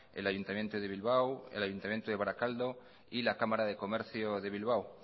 el ayuntamiento de bilbao el ayuntamiento de barakaldo y la cámara de comercio de bilbao